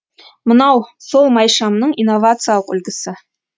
мынау сол майшамның инновациялық үлгісі